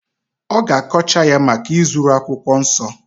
ọ ga-akọcha ya maka izuru akwụkwọ nsọ